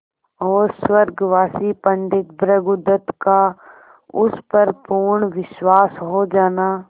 और स्वर्गवासी पंडित भृगुदत्त का उस पर पूर्ण विश्वास हो जाना